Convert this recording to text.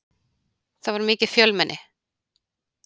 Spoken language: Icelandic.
Það var mikið fjölmenni.